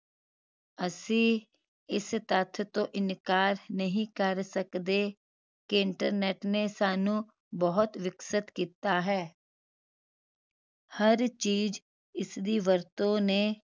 ਅਸੀਂ ਇਸ ਤੱਥ ਤੋਂ ਇਨਕਾਰ ਨਹੀਂ ਕਰ ਸਕਦੇ ਕਿ internet ਨੇ ਸਾਨੂੰ ਬਹੁਤ ਵਿਕਸਿਤ ਕੀਤਾ ਹੈ ਹਰ ਚੀਜ਼ ਇਸਦੀ ਵਰਤੋਂ ਨੇ